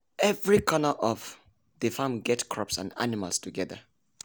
every corner of the farm get crops and animals together.